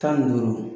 Tan ni duuru